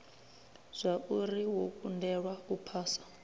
zwauri wo kundelwa u phasa